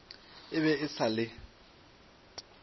e be e sa le